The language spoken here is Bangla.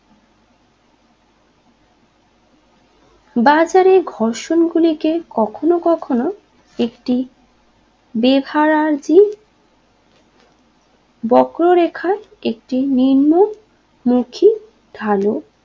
বাজারে ঘর্ষণ গুলিকে কখনও কখনও একটি বেহারাজী বক্ররেখার একটি নিম্নমুখী ঢালু